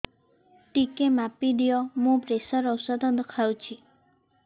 ଟିକେ ମାପିଦିଅ ମୁଁ ପ୍ରେସର ଔଷଧ ଖାଉଚି